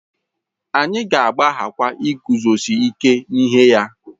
Anyị ga-agbaghakwa iguzosi ike n'ihe ya